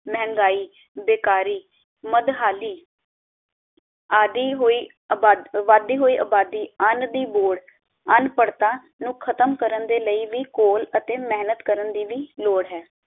ਮਹਿੰਗਾਈ, ਬੇਕਾਰੀ, ਮਦਹਾਲੀ ਆਦਿ ਹੋਈ ਅਬਾਦ ਵਧਦੀ ਹੋਈ ਅਬਾਦੀ ਅੰਨ ਦੀ ਲੋੜ ਅਨਪੜ੍ਹਤਾ ਨੂੰ ਖਤਮ ਕਰਨ ਦੇ ਲਈ ਵੀ ਘੋਲ ਅਤੇ ਮੇਹਨਤ ਕਰਨ ਦੀ ਵੀ ਲੋੜ ਹੈ